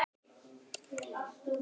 Er ég í þeim hópi.